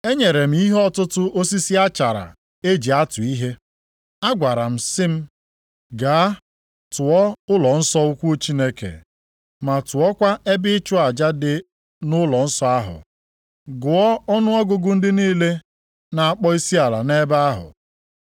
Enyere m ihe ọtụtụ osisi achara e ji atụ ihe. Agwara m sị m, “Gaa tụọ ụlọnsọ ukwu Chineke, ma tụọkwa ebe ịchụ aja dị nʼụlọnsọ ahụ, gụọ ọnụọgụgụ ndị niile na-akpọ isiala nʼebe ahụ.